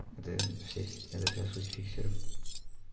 это все это вся суть фиксеров